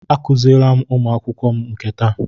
Akuziele m ụmụ akwụkwọ m nke taa.